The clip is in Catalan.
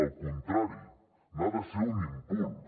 al contrari n’ha de ser un impuls